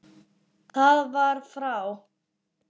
Það var frá